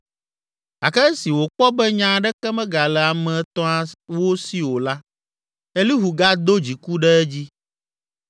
Gake esi wòkpɔ be nya aɖeke megale ame etɔ̃awo si o la, Elihu gado dziku ɖe edzi.